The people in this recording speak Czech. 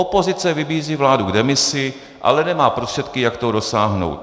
Opozice vybízí vládu k demisi, ale nemá prostředky, jak toho dosáhnout.